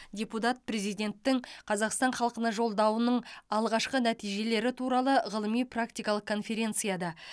депутат президенттің қазақстан халқына жолдауының алғашқы нәтижелері туралы ғылыми практикалық конференцияда